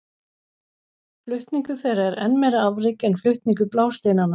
Flutningur þeirra er enn meira afrek en flutningur blásteinanna.